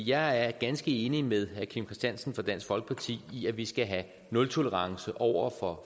jeg er ganske enig med herre kim christiansen fra dansk folkeparti i at vi skal have nultolerance over for